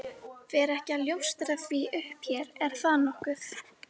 Fer ekki að ljóstra því upp hér, er það nokkuð?